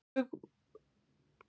Hugumstóra í vonleysinu.